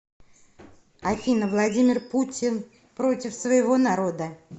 афина владимир путин против своего народа